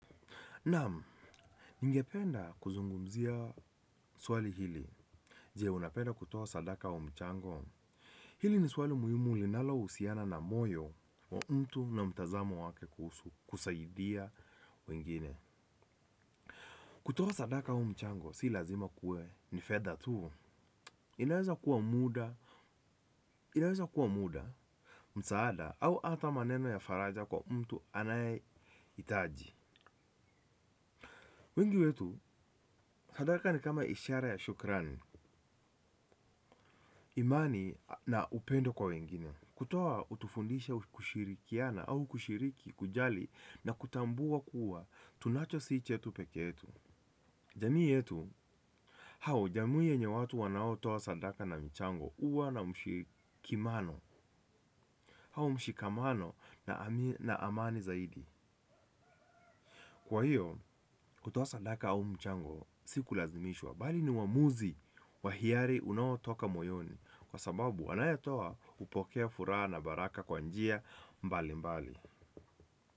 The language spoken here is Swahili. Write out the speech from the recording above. Namu, ningependa kuzungumzia swali hili. Je unapenda kutoa sadaka wa mchango. Hili ni swali muhimu linalohusiana na moyo na mtu kwa mtazamo kuhusu kusaidia wengine. Kutoa sadaka wa mchango si lazima kuwe ni fedha tu inaweza. Inaweza kuwa muda, msaada au ata maneno ya faraja kwa mtu anayehitaji. Wengi wetu sadaka ni kama ishara ya shukrani. Imani na upendo kwa wengine. Kutoa hutufundisha kushirikiana au kushiriki kujali na kutambua kuwa tunacho sii chetu pekee tu. Jamii yetu hao jamii yenye watu wanaotoa sadaka na michango huwa na mshikimano hao mshikamano na amani zaidi. Kwa hiyo, kutoa sadaka au mchango, sikulazimishwa, bali ni uamuzi wa hiari unaotoka moyoni, kwa sababu anayetoa hupokea furaha na baraka kwa njia mbalimbali.